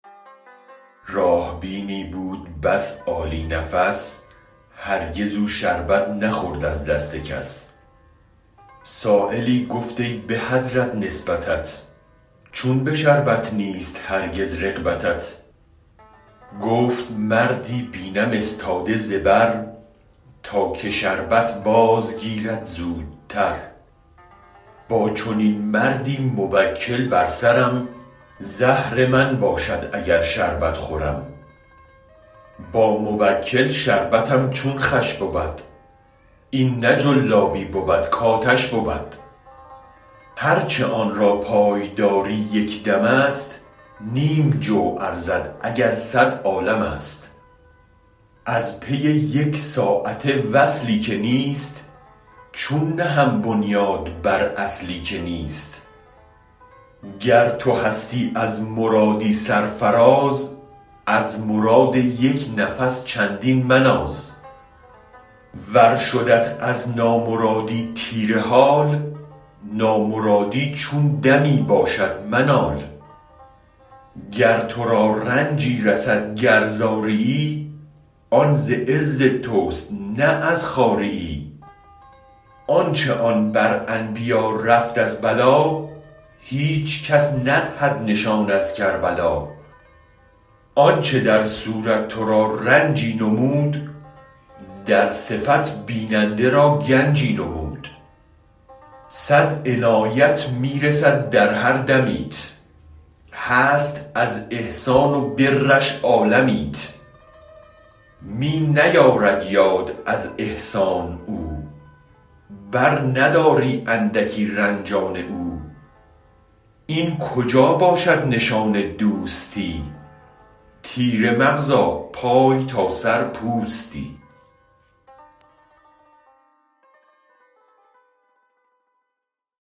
راه بینی بود بس عالی نفس هرگز او شربت نخورد از دست کس سایلی گفت ای به حضرت نسبتت چون به شربت نیست هرگز رغبتت گفت مردی بینم استاده زبر تا که شربت باز گیرد زودتر با چنین مردی موکل بر سرم زهر من باشد اگر شربت خورم با موکل شربتم چون خوش بود این نه جلابی بود کاتش بود هرچ آنرا پای داری یک دمست نیم جو ارزد اگر صد عالمست ازپی یک ساعته وصلی که نیست چون نهم بنیاد بر اصلی که نیست گر تو هستی از مرادی سرفراز از مراد یک نفس چندین مناز ور شدت از نامرادی تیره حال نامرادی چون دمی باشد منال گر ترا رنجی رسد گر زاریی آن ز عز تست نه از خواریی آنچ آن بر انبیا رفت از بلا هیچ کس ندهد نشان از کربلا آنچ در صورت ترا رنجی نمود در صفت بیننده را گنجی نمود صد عنایت می رسد در هر دمیت هست از احسان و برش عالمیت می نیارد یاد از احسان او برنداری اندکی رنج آن او این کجا باشد نشان دوستی تیره مغزاپای تا سر پوستی